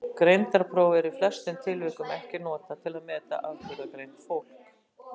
Greindarpróf eru í flestum tilvikum ekki notuð til að meta afburðagreint fólk.